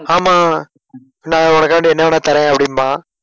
ஆமா நான் உனக்காண்டி என்ன வேணா தரேன் அப்படிம்பான்.